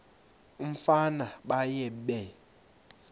umfana baye bee